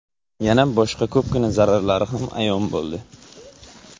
Yana boshqa ko‘pgina zararlari ham ayon bo‘ldi.